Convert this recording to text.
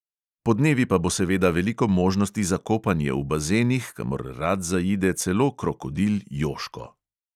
Podnevi pa bo seveda veliko možnosti za kopanje v bazenih, kamor rad zaide celo krokodil jožko.